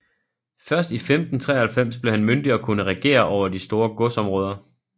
Først i 1593 blev han myndig og kunne regere over de store godsområder